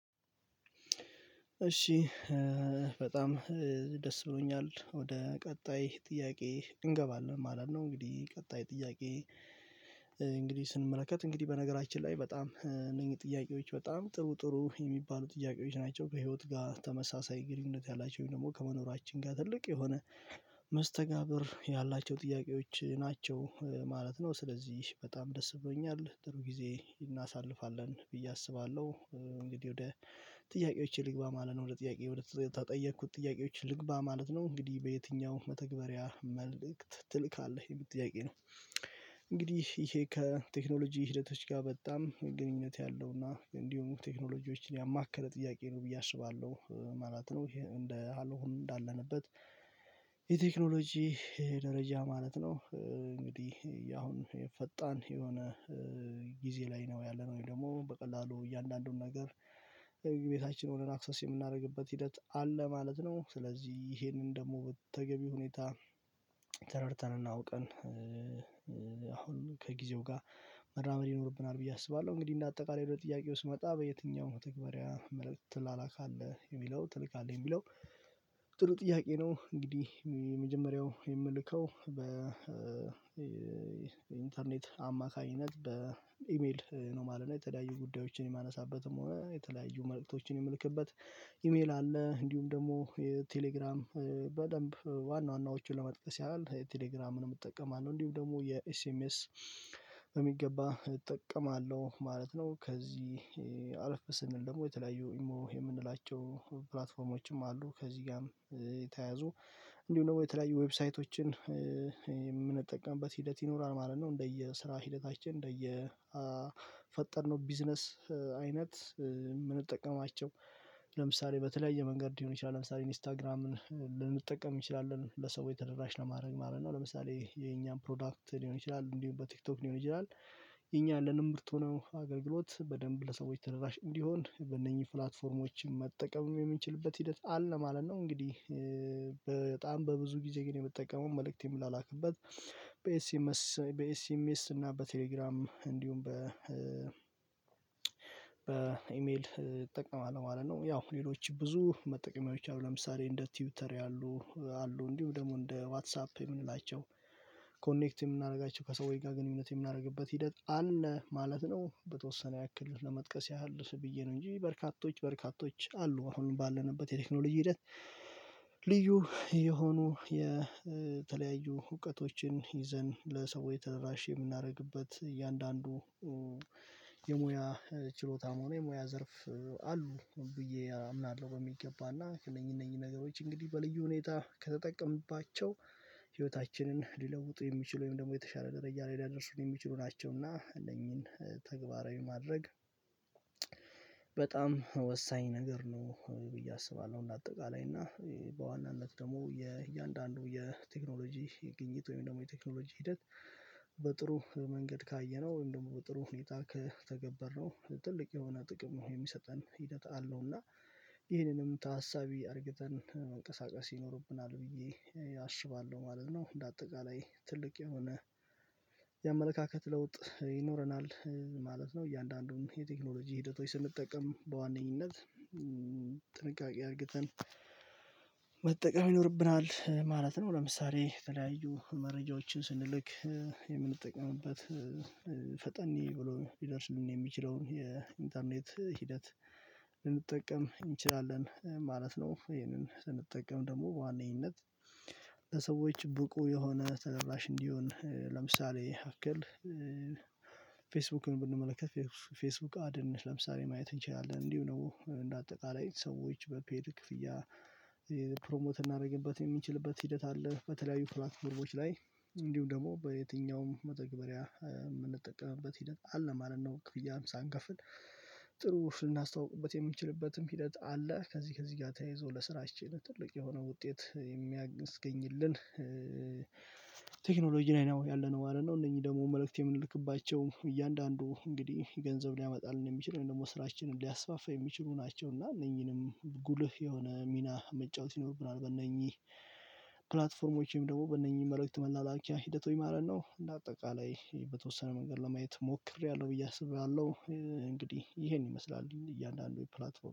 እሺ በጣም ደስ ብሎኛል ወደ ቀጣይ ጥያቄ እንገባለን ማለት ነው። እንግዲህ ቀጣይ ጥያቄ። እንግዲህ ስንመለከት እንግዲህ በነገራችን ላይ በጣም እነዚህ ጥያቄዎች በጣም ጥሩ ጥሩ የሚባሉ ጥያቄዎች ናቸው ከህይወት ጋር ተመሳሳይ ግንኙነት ያላቸው ወይም ደግሞ ከመኖራችን ጋር ትልቅ የሆነ መስተጋብር ያላቸው ጥያቄዎች ናቸው ማለት ነው። ስለዚህ በጣም ደስ ብሎኛል ጥሩ ጊዜ እናሳልፋለን ብዬ አስባለሁ። እንግዲህ ወደ ጥያቄዎቼ ልግባ ማለት ነው። ወደ ጥያቄ ወደ ተጠየቅኩት ጥያቄዎች ልግባ ማለት ነው። እንግዲህ በየትኛውም መተግበሪያ መልእክት ትልካለህ የምል ጥያቄ ነው? እንግዲህ ይሄ ከቴክኖሎጂ ሂደቶች ጋር በጣም ግንኙነት ያለውና እንዲሁ ቴክኖሎጂዎችን ያማከረ ጥያቄ ነው ብዬ አስባለሁ ማለት ነው። እንደ አሎሆም እንዳለንበት የቴክኖሎጂ የደረጃ ማለት ነው። እንግዲህ አሁን የፈጣን የሆነ ጊዜ ላይ ነው ያለነው ወይ ደግሞ በቀላሉ እያንዳንዱን ነገር ቤታችን ሆነን አክሰስ የምናደርግበት ሂደት አለ ማለት ነው። ስለዚህ ይሄንን ደግሞ በተገቢ ሁኔታ ተረድተን እና አውቀን አሁን ከጊዜው ጋር መራመድ ይኖርብናል ብዬ አስባለሁ። እንግዲህ እንደ አጠቃላይ ወደ ጥያቄ ውስጥ መጣ በየትኛው መተግባሪያ መልእክት ትላላካለህ የሚለው ትልካለህ የሚለው ጥሩ ጥያቄ ነው። እንግዲህ የመጀመሪያው የምልከው በ ኢንተርኔት አማካኝነት በኢሜል ነው ማለት ነው። የተለያዩ ጉዳዮችን የማነሳበትም ወይ የተለያዩ መልእክቶችን የምልክበት ኢሜል አለ። እንዲሁም ደግሞ የቴሌግራም በደንብ ዋና ዋናዎቹን ለመጥቀስ ያህል የቴሌግራምንም እጠቀማለሁ እንዲሁ ደግሞ የኤስኤምኤስ በሚገባ እጠቀማለሁ ማለት ነው። ከዚህ አልፍ ስንል ደግሞ የተለያዩ ኢሞ የምንላቸው ፕላትፎርሞችም አሉ። ከዚህ ጋርም የተያያዙ እንዲሁ ደግሞ የተለያዩ ዌብሳይቶችን የምንጠቀምበት ሂደት ይኖራል ማለት ነው። እንደየ ስራ ሂደታችን እንደየ ፈጠርነው ቢዝነስ አይነት የምንጠቀማቸው ለምሳሌ በተለያየ መንገድ ሊሆን ይችላል። ለምሳሌ ኢንስታግራምን ልንጠቀም እንችላለን ለሰው ተደራሽ ለማድረግ ማለት ነው። ለምሳሌ የኛን ፕሮዳክት ሊሆን ይችላል እንዲሁም በቲክቶክ ሊሆን ይችላል። የኛ አለንም ብርቱ ነው አገልግሎት በደንብ ለሰዎች ተደራሽ እንዲሆን በእነኚህ ፕላትፎርሞችም መጠቀም የምንችልበት ሂደት አለ ማለት ነው። እንግዲህ በጣም በብዙ ጊዜ ግን የምትጠቀመው መልእክት የምላላክበት በኤስኤምስ በኤስኤምኤስ እና በቴሌግራም እንዲሁም በ በኢሜል እጠቀማለሁ ማለት ነው። ያው ሌሎች ብዙ መጠቀሚያዎች አሉ ለምሳሌ እንደ ቲውተር ያሉ አሉ እንዲሁ ደግሞ እንደ ዋትሳፕ የምንላቸው ኮኔክት የምናደርጋቸው ከሰውዬ ጋር ግንኙነት የምናደርግበት ሂደት አለ ማለት ነው። በተወሰነ ያክል ለመጥቀስ ያህል ስብዬ ነው እንጂ በርካቶች በርካቶች አሉ። አሁን ባለንበት የቴክኖሎጂ ሂደት ልዩ የሆኑ የተለያዩ እውቀቶችን ይዘን ለሰዎች ተደራሽ የምናደርግበት እያንዳንዱ የሙያ ችሎታም ሆኖ የሙያ ዘርፍ አሉ ብዬ አምናለሁ። በሚገባና ከለኝ እነኚህ ነገሮች እንግዲህ በልዩ ሁኔታ ከተጠቀምባቸው ህይወታችንን ሊለውጡ የሚችሉ ወይም ደግሞ የተሻለ ደረጃ ላይ ሊያደርሱን የሚችሉ ናቸውና አለኝን ተግባራዊ ማድረግ። በጣም ወሳኝ ነገር ነው ብዬ አስባለሁ። እና አጠቃላይ እና በዋናነት ደግሞ የእያንዳንዱ የቴክኖሎጂ ግኝት ወይም ደግሞ የቴክኖሎጂ ሂደት በጥሩ መንገድ ካየነው እንደውም ጥሩ ሁኔታ ከተገበርነው ትልቅ የሆነ ጥቅሙ የሚሰጠን ሂደት አለውና ይህንንም ታሳቢ አድርግተን መንቀሳቀስ ይኖርብናል ብዬ አስባለሁ ማለት ነው። እንደ አጠቃላይ ትልቅ የሆነ የአመለካከት ለውጥ ይኖረናል ማለት ነው። እያንዳንዱን የቴክኖሎጂ ሂደቶች ስንጠቀም በዋነኝነት ጥንቃቄ አድርገፈግተን መጠቀም ይኖርብናል ማለት ነው። ለምሳሌ ተለያዩ መረጃዎችን ስንልክ የምንጠቀምበት ፈጠኒ ብሎ ሊደርስ የሚችለውን የኢንተርኔት ሂደት ልንጠቀም እንችላለን ማለት ነው። ይሄንን ስንጠቀም ደግሞ በዋነኝነት ለሰዎች ብቁ የሆነ ተደራሽ እንዲሆን ለምሳሌ ያክል ፌስቡክን ብንመለከት ፌስቡክ አድንሽ ለምሳሌ ማየት እንችላለን እንዲሁ ነው እንደ አጠቃላይ ሰዎች በፔድ ክፍያ ፕሮሞት እናደርግበት የሚችልበት ሂደት አለ። በተለያዩ ፕላትፎርሞች ላይ እንዲሁም ደግሞ በየትኛውም መተግበሪያ የምንጠቀምበት ሂደት አለ ማለት ነው። ክፍያ ሳንከፍል ጥሩ ልናስተውቅበት የምንችልበትም ሂደት አለ። ከዚህ ከዚህ ጋር ተያይዞ ለስራችን ትልቅ የሆነ ውጤት የሚያስገኝልን ቴክኖሎጂ ነው ያለነው ማለት ነው። እነዚህ ደግሞ መልእክት የምንልክባቸው እያንዳንዱ እንግዲህ ገንዘብ ሊያመጣልን የሚችለው ደግሞ ስራችንን ሊያስፋፋ የሚችሉ ናቸው እና እነኚህንም ጉልህ የሆነ ሚና መጫወት ይኖርብናል። በእነኚህ ፕላትፎርሞቼም ደግሞ በእነኚህ መልእክት መላላኪያ ሂደት ሆይ ማለት ነው። እንደ አጠቃላይ በተወሰነ መንገድ ለማየት ሞክሬያለሁ ብዬ አስብሬያለሁ። እንግዲህ ይሄን ይመስላል እያንዳንዱ የፕላትፎርም